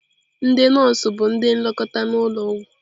Ndị nọọsụ bụ ndị nlekọta n'ụlọ ọgwụ.